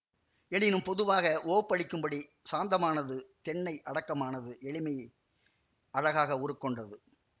எனினும் பொதுவாக உவப்பளிக்கும்படி சாந்தமானது தென்னை அடக்கமானது எளிமையே அழகாக உருக்கொண்டது